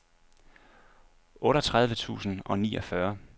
otteogtredive tusind og niogfyrre